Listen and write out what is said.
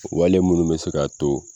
Wale munnu be se ka to